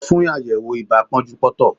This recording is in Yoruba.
Lọ fún àyẹ̀wò ibà pọ́njúpọ́ntọ̀!